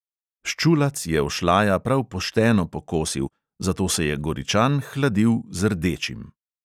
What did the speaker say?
Ščulac je ošlaja prav pošteno pokosil, zato se je goričan hladil z "rdečim".